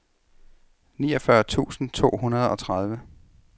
niogfyrre tusind to hundrede og tredive